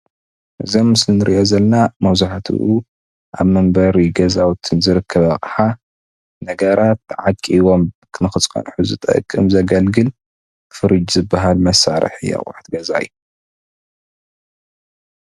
እዚ ኣብ ምስሊ ንርእዮ ዘለና መብዛሕትኡ ኣብ መንበሪ ገዛውቲ ዝርከብ ኣቕሓ ነገራት ተዓቂቦም ንክንፀሑ ዝጠቅም ዘገልግል ፍርጅ ዝበሃል መሳርሒ እቕሑት ገዛ እዩ